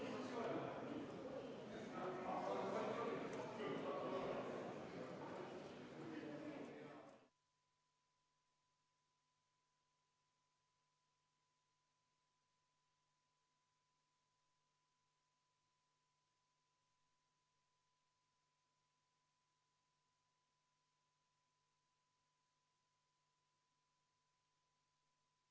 Vaheajal tõepoolest vestlesime Riigikogu juhatuse liikmetega, et täpsustada, kuidas me tänase pika istungi jooksul võiksime võimalikult sarnaselt käituda ja et ka saadikud teaksid.